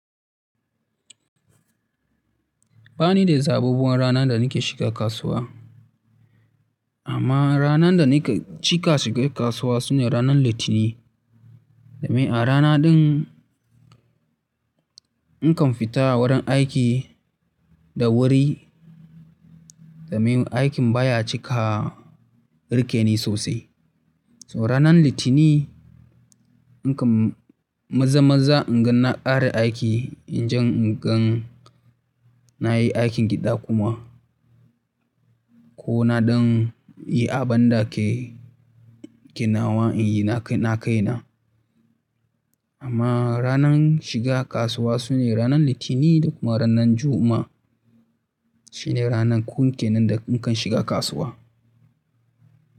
Ba ni da zaɓaɓɓuwan ranar da nake shiga kasuwa. Amma ranar da nake cika shiga kasuwa su ne ranar Litinin. Domin a rana ɗin nakan fita wurin aiki da wuri, domin aikin baya cika riƙeni sosai. So ranar Litinin nakan maza-maza inga na ƙare aiki, inje ingan nayi aikin gida kuma. Ko naɗan yi abin da ke, ke nawa in yi na kai na. Amma ranar shiga kasuwa su ne ranar Litinin da kuma ranar Juma'a. Shi ne ranaku kenan da nakan shiga kasuwa.